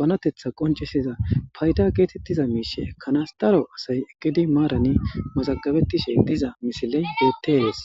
banetatha qonccisiza matawaqa kesishshe salafetidi dizayissa besses